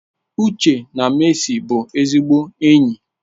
Uche na Mercy bụ ezigbo enyi.